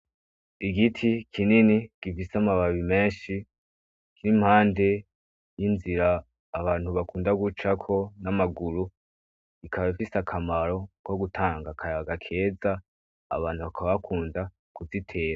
Igiti kinini gifise amababi menshi kiri mpande y'inzira abantu bakunda gucako n'amaguru ikaba ifise akamaro ko gutanga akayaga keza, abantu bakaba bakunda kuzitera.